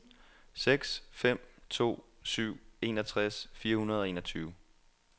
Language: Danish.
seks fem to syv enogtres fire hundrede og enogtyve